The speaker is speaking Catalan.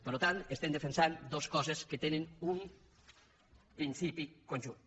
per tant estem defensant dos coses que tenen un principi conjunt